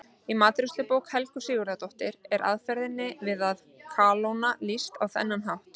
Í matreiðslubók Helgu Sigurðardóttur er aðferð við að kalóna lýst á þennan hátt: